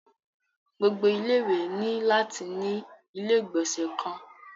Gbogbo ilé ìwé ni lati ni ilé igbọnsẹ kan.